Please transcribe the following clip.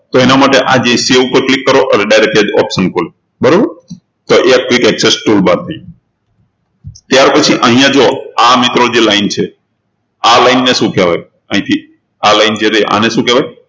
તો એના માટે આ જે save ઉપર click કરો એટલે direct જ એ option ખુલે બરોબર તો એ quick access toolbar થી ત્યારપછી અહિયાં જુઓ આ મિત્રો જે line છે આ line ને શું કહેવાય અહીંથી આ line છે એને શું કહેવાય